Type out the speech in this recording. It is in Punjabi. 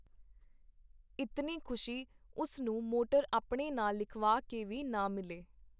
ਇਤਨੀ ਖੁਸ਼ੀ ਉਸ ਨੂੰ ਮੋਟਰ ਆਪਣੇ ਨਾਂ ਲਿਖਵਾ ਕੇ ਵੀ ਨਾ ਮਿਲੇ.